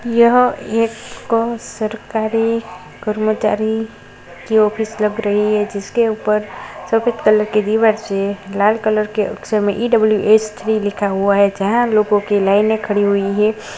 यह एक सरकारी कर्मचारी की ऑफिस लग रही है जिसके ऊपर सफेद कलर की दीवार से लाल कलर के अक्षर में ई.डब्ल्यू.एस. थ्री लिखा हुआ है जहां लोगों की लाइन खड़ी हुई है।